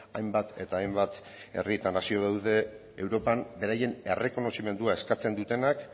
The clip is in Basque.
hainbat eta hainbat herri eta nazio daude europan beraien errekonozimendua eskatzen dutenak